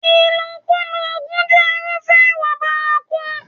Ìlòkulò oògùn jẹ́ irúfẹ́ ìwà bárakú.